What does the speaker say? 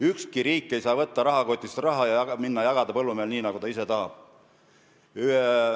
Ükski riik ei saa võtta rahakotist raha ja jagada põllumehele nii, nagu ta ise tahab.